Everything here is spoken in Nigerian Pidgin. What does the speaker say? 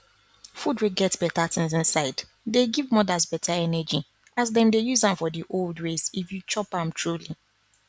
food wey get better things inside dey give mothers better energy as them dey use am for the old ways if you chop am truly